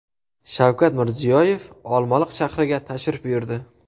Shavkat Mirziyoyev Olmaliq shahriga tashrif buyurdi .